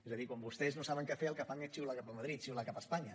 és a dir quan vostès no saben què fer el que fan és xiular cap a madrid xiular cap a espanya